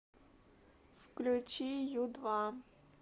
включи ю два